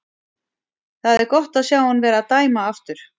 Það er gott að sjá hann vera að dæma aftur.